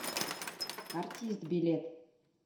артист билет